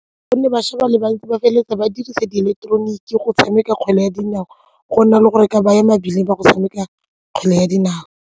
Gonne bašwa ba le bantsi ba feleletsa ba dirisa di ileketeroniki go tshameka kgwele ya dinao go nna le gore ke baya mebileng ba go tshameka kgwele ya dinao.